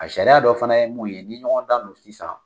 A sariya dɔ fana ye mun ye ni ɲɔgɔn dan don sisan